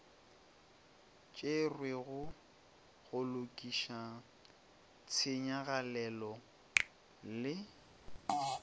tšerwego go lokiša tshenyagalelo le